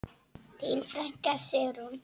Þín frænka, Sigrún.